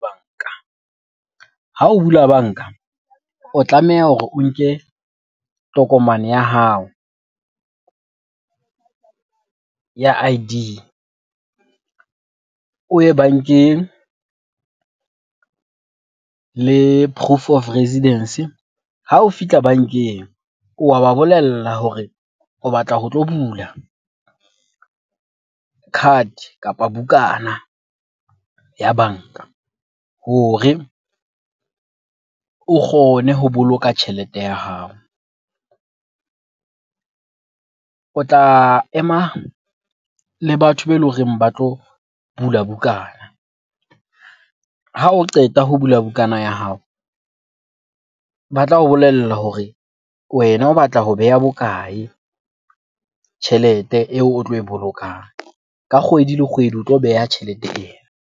Banka, ha o bula banka o tlameha hore o nke tokomane ya hao ya I_D o ye bankeng le proof of residence. Ha o fihla bankeng, o wa ba bolella hore o batla ho tlo bula card kapa bukana ya banka hore o kgone ho boloka tjhelete ya hao. O tla ema le batho be eleng hore ba tlo bula bukana. Ha o qeta ho bula bukana ya hao, ba tla o bolella hore wena o batla ho beha bokae tjhelete eo o tlo e bolokang? Ka kgwedi le kgwedi o tlo beha tjhelete eo.